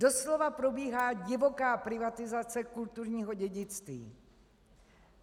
Doslova probíhá divoká privatizace kulturního dědictví.